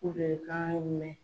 bɛ kan mɛn.